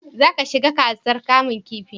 za ka shiga gasar kamun kifi?